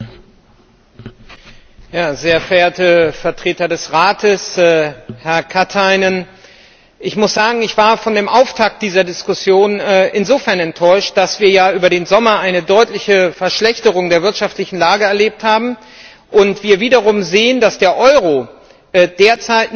Herr Präsident, sehr verehrte Vertreter des Rates, Herr Katainen! Ich muss sagen, ich war von dem Auftakt dieser Diskussion insofern enttäuscht, dass wir ja über den Sommer eine deutliche Verschlechterung der wirtschaftlichen Lage erlebt haben und wir wiederum sehen, dass der Euro derzeit nicht gut geführt und